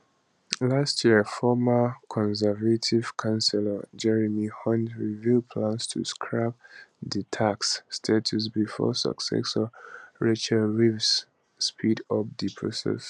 last year former conservative chancellor jeremy hunt reveal plans to scrap di tax status before successor rachel reeves speed up di process